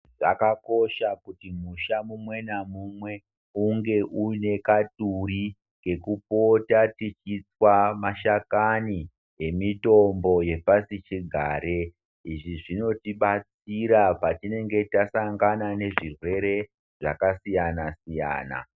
Zvakakosha kuti musha mumwe namumwe unge uine kaduri kekupota tichitswa mashakani nemitombo yepasichigare izvi zvinotibatsira patinenge tasangana nezvirwere zvakasiyana -siyana.